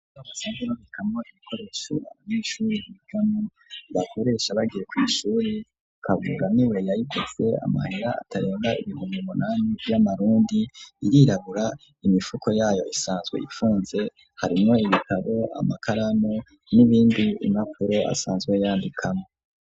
Ico basazwe babikamwo ibikoresho abanyeshuri bigamwo, bakoresha bagiye kw'ishuri, Kabura niwe yayiguze amahera atarenga ibihumbi munami vy'amarundi, irirabura imifuko yayo isanzwe ifunze, harimwo ibitabo, amakaramu, n'ibindi, impapuro asanzwe yandikamwo.